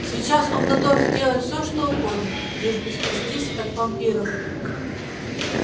сейчас он готов сделать всё что угодно лишь бы спастись от вампиров